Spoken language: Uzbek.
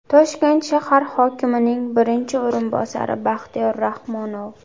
Toshkent shahar hokimining birinchi o‘rinbosari Baxtiyor Rahmonov.